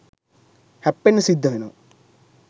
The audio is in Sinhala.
හැප්පෙන්න සිද්ධ වෙනවා.